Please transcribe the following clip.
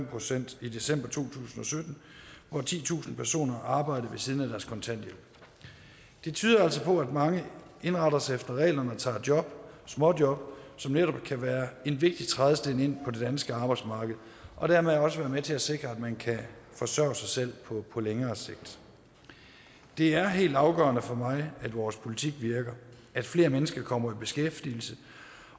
procent i december to tusind og sytten hvor titusind personer arbejdede ved siden af deres kontanthjælp det tyder altså på at mange indretter sig efter reglerne og tager job småjob som netop kan være en vigtig trædesten ind på det danske arbejdsmarked og dermed også være med til at sikre at man kan forsørge sig selv på længere sigt det er helt afgørende for mig at vores politik virker at flere mennesker kommer i beskæftigelse